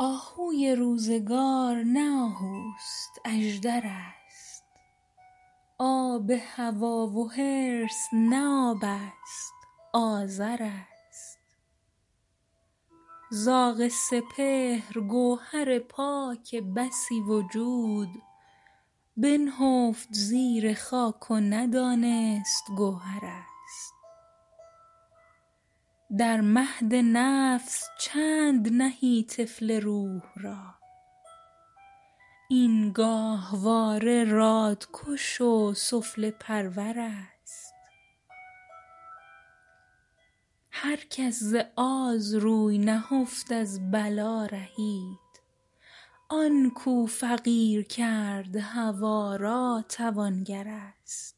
آهوی روزگار نه آهوست اژدر است آب هوی و حرص نه آبست آذر است زاغ سپهر گوهر پاک بسی وجود بنهفت زیر خاک و ندانست گوهر است در مهد نفس چند نهی طفل روح را این گاهواره رادکش و سفله پرور است هر کس ز آز روی نهفت از بلا رهید آنکو فقیر کرد هوای را توانگر است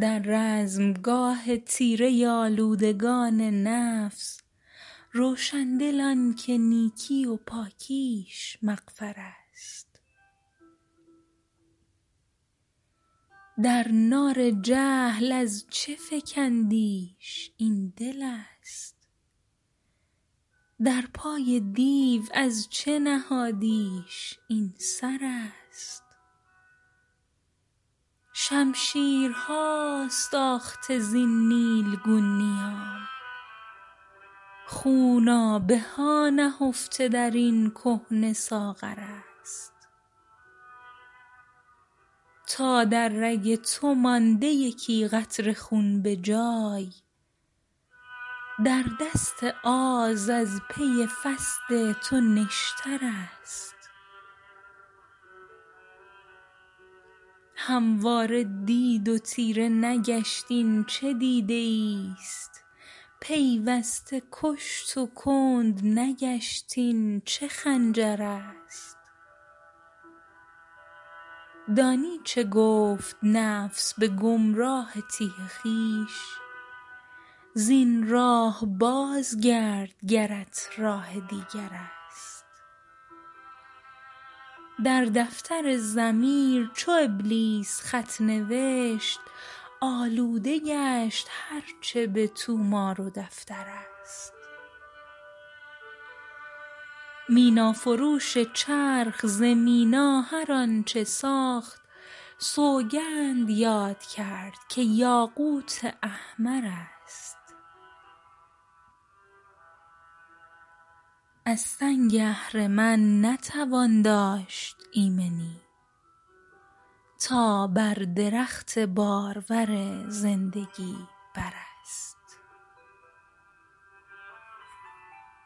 در رزمگاه تیره آلودگان نفس روشندل آنکه نیکی و پاکیش مغفر است در نار جهل از چه فکندیش این دلست در پای دیو از چه نهادیش این سر است شمشیرهاست آخته زین نیلگون نیام خونابه هانهفته در این کهنه ساغر است تا در رگ تو مانده یکی قطره خون بجای در دست آز از پی فصد تو نشتر است همواره دید و تیره نگشت این چه دیده ایست پیوسته کشت و کندنگشت این چه خنجر است دانی چه گفت نفس بگمراه تیه خویش زین راه بازگرد گرت راه دیگر است در دفتر ضمیر چو ابلیس خط نوشت آلوده گشت هرچه بطومار و دفتر است مینا فروش چرخ ز مینا هر آنچه ساخت سوگند یاد کرد که یاقوت احمر است از سنگ اهرمن نتوان داشت ایمنی تا بر درخت بارور زندگی بر است